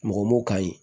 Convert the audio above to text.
Mɔgɔ m'o ka ɲi